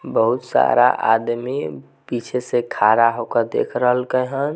बहुत सारा आदमी पीछे से खड़ा होकर देख रहले के हैन ।